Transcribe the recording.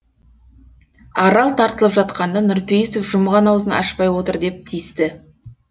арал тартылып жатқанда нұрпейісов жұмған аузын ашпай отыр деп тиісті